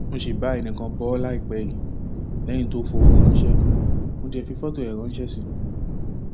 mo sì bá ẹnìkan bò ó láìpẹ yìí lẹyìn tó fọwọ ránṣẹ mo dé fi fọtò ẹ ránṣẹ sí i